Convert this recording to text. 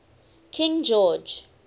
king george